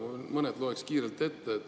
Mõned loen kiirelt ette.